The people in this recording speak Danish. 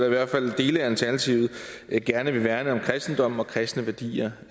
i hvert fald dele af alternativet gerne vil værne om kristendommen og kristne værdier